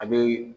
A be